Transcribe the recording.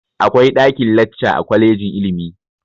Akwai ɗakin-lacca a kwalejin ilimi.